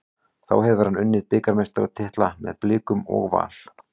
Þá hefur hann unnið bikarmeistaratitla með Blikum og Val.